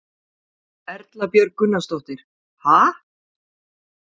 Erla Björg Gunnarsdóttir: Ha?